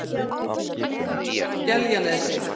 Skeljanesi